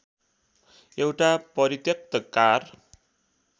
एउटा परित्यक्त कार